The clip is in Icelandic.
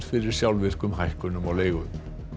fyrir sjálfvirkum hækkunum á leigu